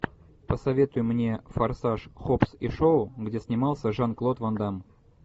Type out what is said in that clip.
посоветуй мне форсаж хоббс и шоу где снимался жан клод ван дамм